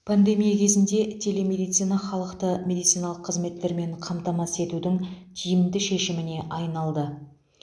пандемия кезінде телемедицина халықты медициналық қызметтермен қамтамасыз етудің тиімді шешіміне айналды